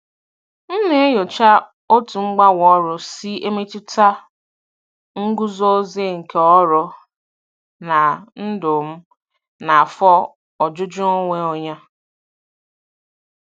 M na-enyocha otú mgbanwe ọrụ si emetụta nguzozi nke ọrụ na ndụ m na afọ ojuju onwe onye.